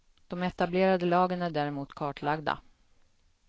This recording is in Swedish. De etablerade lagen är däremot kartlagda.